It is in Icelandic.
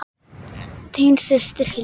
Þín systir, Hildur.